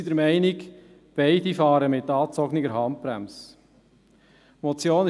Wir sind der Meinung, dass beide mit angezogener Handbremse fahren.